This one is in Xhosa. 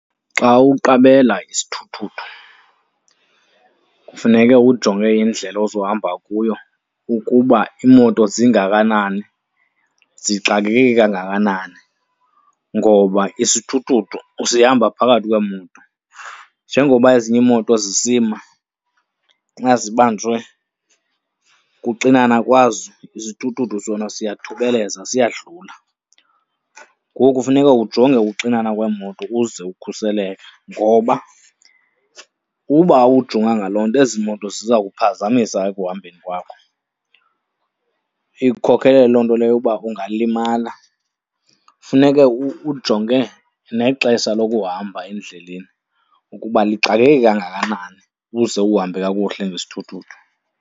Xa uqabela isithuthuthu kufuneke ujonge indlela ozohamba kuyo ukuba iimoto zingakanani, zixakeke kangakanani ngoba isithuthuthu sihamba phakathi kweemoto. Njengoba ezinye iimoto zisima xa zibanjwe kuxinana kwazo isithuthuthu sona siyathubeleza, siyadlula. Ngoku funeka ujonge ukuxinana kweemoto ukuze ukhuseleke ngoba ukuba awujonganga loo nto ezi moto ziza kuphazamisa ekuhambeni kwakho. Ikukhokele loo nto leyo ukuba ungalimala. Funeke ujonge nexesha lokuhamba endleleni ukuba lixakeke kangakanani ukuze uhambe kakuhle ngesithuthuthu.